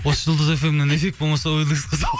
осы жұлдыз фм нен эффект болмаса